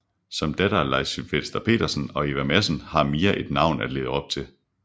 Som datter af Leif Sylvester Petersen og Eva Madsen har Mia et navn at leve op til